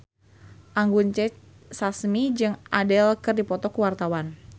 Anggun C. Sasmi jeung Adele keur dipoto ku wartawan